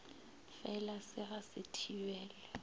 fela se ga se thibele